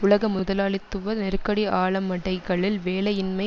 உலக முதலாளித்துவ நெருக்கடி ஆழமடைகையில் வேலையின்மை